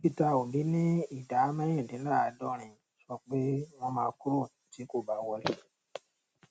peter obi ní ìdá mẹrindínláàdọrin sọ pé wọn máa kúrò tí kò bá wọlé